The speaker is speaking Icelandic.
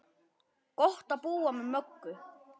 Gott að búa með Möggu.